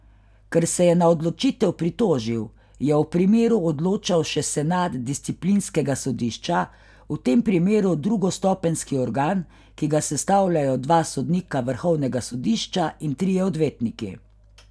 Ker se je na odločitev pritožil, je o primeru odločal še senat disciplinskega sodišča, v tem primeru drugostopenjski organ, ki ga sestavljajo dva sodnika vrhovnega sodišča in trije odvetniki.